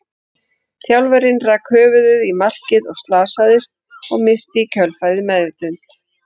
Þjálfarinn rak höfuðið í markið og slasaðist, og missti í kjölfarið meðvitund.